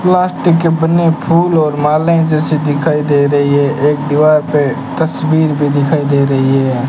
Plastic के बने फूल और मालाएं जैसे दिखाई दे रही है एक दीवार पे तस्वीर भी दिखाई दे रही है।